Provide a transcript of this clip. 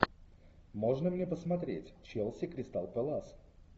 можно мне посмотреть челси кристал пэлас